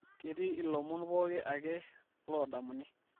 ketii ilomon pooki ake loodamuni